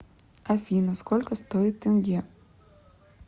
афина сколько стоит тенге